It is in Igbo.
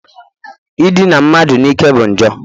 Idina mmadụ n'ike bụ njọ